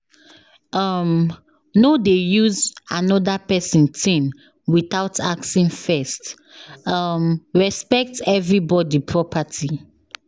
um No dey use another person thing without asking first, um respect everybody property.